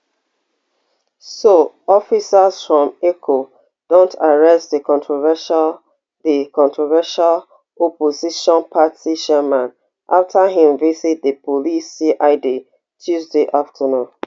so officers from eco don't arrest di controversial di controversial opposition party chairman afta im visit di police cid tuesday afternoon